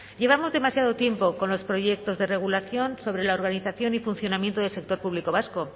llevamos demasiado tiempo con los proyectos de regulación sobre la organización y funcionamiento del sector público vasco